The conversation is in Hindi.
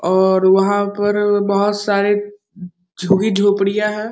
और वहां पर बहुत सारे झुग्गी झोपड़ियां है।